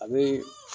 A bee